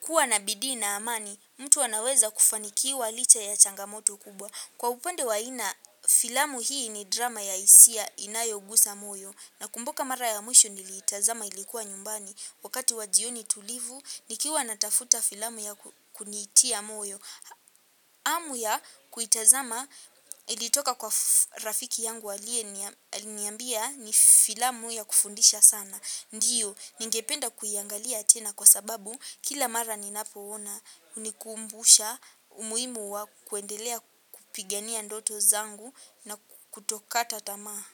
kuwa na bidii na amani. Mtu anaweza kufanikiwa licha ya changamoto kubwa. Kwa upande wa ina filamu hii ni drama ya hisia inayogusa moyo. Nakumbuka mara ya mwisho niliitazama ilikuwa nyumbani. Wakati wa jioni tulivu, nikiwa natafuta filamu ya kunitia moyo. Hamu ya kuitazama ilitoka kwa rafiki yangu aliyeniambia ni filamu ya kufundisha sana. Ndio, ningependa kuiangalia tena kwa sababu kila mara ninapoona, hunikumbusha umuhimu wa kuendelea kupigania ndoto zangu na kutokata tamaa.